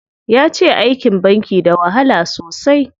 Yace aikin banki da wahala sosai.